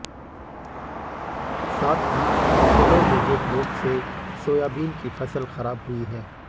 साथ ही यलोमोजेक रोग से सोयाबीन की फसल खराब हुई है